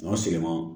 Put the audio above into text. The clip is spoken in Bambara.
O sirima